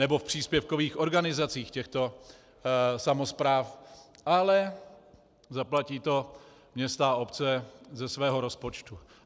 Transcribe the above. Nebo v příspěvkových organizacích těchto samospráv, ale zaplatí to města a obce ze svého rozpočtu.